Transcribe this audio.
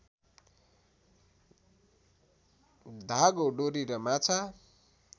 धागो डोरी र माछा